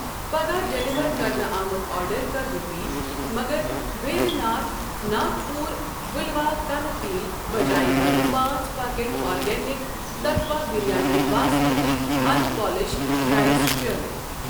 پگاہ ڈیلیور کرنہٕ آمُت آرڈر کر رِپیٖٹ مگر بیدیہ ناتھ ناگ پوٗر بِلواکنہٕ تیٖل بجاۓ کر پانٛژھ packet organic Tattva biryani basmati unpolished rice شٲمِل۔